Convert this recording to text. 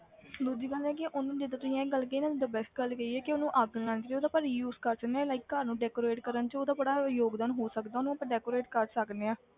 ਦੂਜੀ ਗੱਲ ਇਹ ਆ ਕਿ ਉਹਨੂੰ ਜਿੱਦਾਂ ਤੁਸੀਂ ਇਹ ਗੱਲ ਕਹੀ ਨਾ ਤਾਂ best ਗੱਲ ਕਹੀ ਹੈ ਕਿ ਉਹਨੂੰ ਅੱਗ ਨੀ ਲਾਉਣੀ ਚਾਹੀਦੀ ਉਹਦਾ ਆਪਾਂ reuse ਕਰ ਸਕਦੇ ਹਾਂ like ਘਰ ਨੂੰ decorate ਕਰਨ 'ਚ ਉਹਦਾ ਬੜਾ ਯੋਗਦਾਨ ਹੋ ਸਕਦਾ, ਉਹਨੂੰ ਆਪਾਂ decorate ਕਰ ਸਕਦੇ ਹਾਂ।